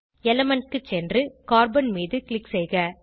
element க்கு சென்று carbon மீது க்ளிக் செய்க